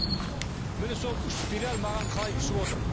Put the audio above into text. міне сол үш спираль маған қалай түсіп отыр